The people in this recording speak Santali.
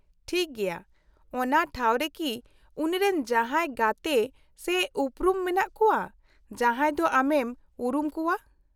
-ᱴᱷᱤᱠ ᱜᱮᱭᱟ ᱾ ᱚᱱᱟ ᱴᱷᱟᱣ ᱨᱮᱠᱤ ᱩᱱᱤᱨᱮᱱ ᱡᱟᱦᱟᱸᱭ ᱜᱟᱛᱮ ᱥᱮ ᱩᱯᱨᱩᱢ ᱢᱮᱱᱟᱜ ᱠᱚᱣᱟ ᱡᱟᱦᱟᱸᱭ ᱫᱚ ᱟᱢᱮᱢ ᱩᱨᱩᱢ ᱠᱚᱣᱟ ?